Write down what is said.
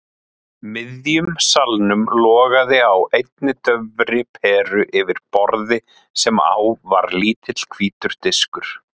miðjum salnum logaði á einni daufri peru yfir borði sem á var lítill hvítur diskur.